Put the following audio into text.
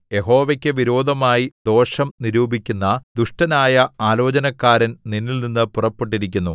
യഹോവയ്ക്കു വിരോധമായി ദോഷം നിരൂപിക്കുന്ന ദുഷ്ടനായ ആലോചനക്കാരൻ നിന്നിൽനിന്ന് പുറപ്പെട്ടിരിക്കുന്നു